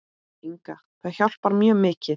Inga Það hjálpar mjög mikið.